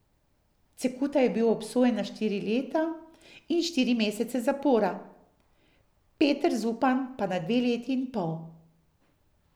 Cekuta je bil obsojen na štiri leta in štiri mesece zapora, Peter Zupan pa na dve leti in pol.